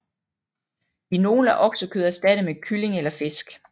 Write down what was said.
I nogle er oksekød erstattet med kylling eller fisk